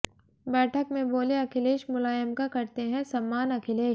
बैठक में बोले अखिलेश मुलायम का करते हैं सम्मानः अखिलेश